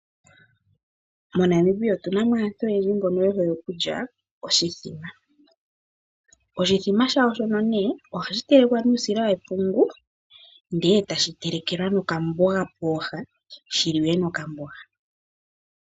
MoNamibia otuna mo aantu oyendji mbono ye hole okulya oshithima. Oshithima shawo shono nee ohashi telekwa nuusila wepungu ndele etashi telekelwa okamboga pooha shi liwe nokamboga.